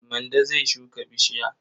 Mande zai shuka bishiya.